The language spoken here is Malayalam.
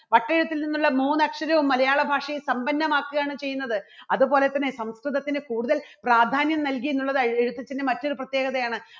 അദ്ദേഹത്തിൽ നിന്നുള്ള മൂന്നക്ഷരവും മലയാളഭാഷയെ സമ്പന്നമാക്കുകയാണ് ചെയ്യുന്നത്. അതുപോലെതന്നെ സംസ്കൃതത്തിന് കൂടുതൽ പ്രാധാന്യം നൽകി എന്നുള്ളത് എഴുത്തച്ഛൻറെ മറ്റൊരു പ്രത്യേകതയാണ്.